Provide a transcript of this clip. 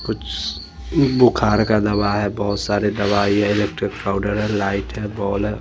कुछ इ बुखार का दवा है बहोत सारे दवाई है इलेक्ट्रिक पाउडर है लाइट है बॉल है।